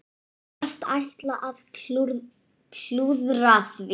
Virðast ætla að klúðra því.